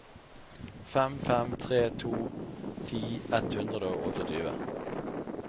fem fem tre to ti ett hundre og tjueåtte